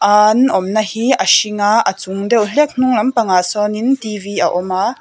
aan awmna hi a hring a a chung deuh hlek hnung lampangah sawnin t v a awm a.